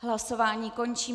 Hlasování končím.